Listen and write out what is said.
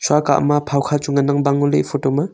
shua kah ma phao kha chu ngan ang bang ngo ley e photo ma.